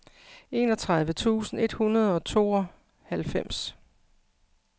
enogtredive tusind et hundrede og tooghalvfems